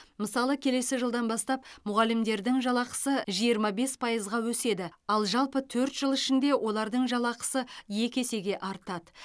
мысалы келесі жылдан бастап мұғалімдердің жалақысы жиырма бес пайызға өседі ал жалпы төрт жыл ішінде олардың жалақысы екі есеге артады